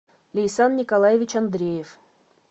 лейсан николаевич андреев